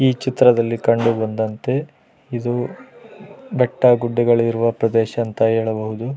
ಈ ಚಿತ್ರದಲ್ಲಿ ಕಂಡು ಬಂದಂತೆ ಇದು ಬೆಟ್ಟ ಗುಡ್ಡಗಳು ಇರುವ ಪ್ರದೇಶ ಅಂತ ಹೇಳಬಹುದು .